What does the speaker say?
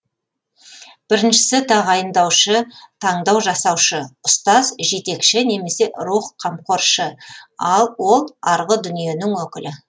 біріншісі тағайындаушы таңдау жасаушы ұстаз жетекші немесе рух қамқоршы ал ол арғы дүниенің өкілі